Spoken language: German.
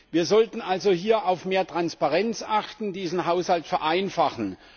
Wir sollten also hier auf mehr Transparenz achten, diesen Haushalt vereinfachen.